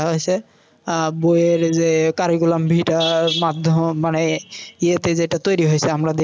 আহ বইয়ের যে curriculum vita টা মাধ্যম মানে ইয়েতে যেটা তৈরি হয়েছে আমরা দেখি।